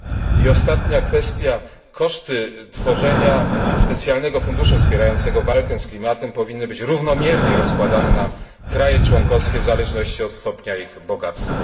I ostatnia kwestia koszty tworzenia specjalnego funduszu wspierającego walkę z klimatem powinny być równomiernie rozkładane na kraje członkowskie w zależności od stopnia ich bogactwa.